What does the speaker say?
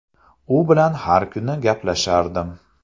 U bilan har kuni gaplashardim.